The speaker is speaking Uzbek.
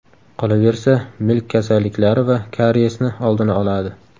Qolaversa, milk kasalliklari va kariyesni oldini oladi.